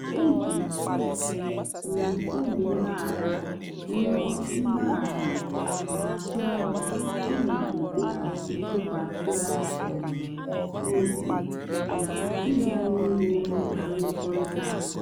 eji um m obi mgbaghara rịọ mgbaghara na-atụ anya ịmaliteghachi ntụkwasị um obi na ịga n'ihu na mmekọrịta anyị.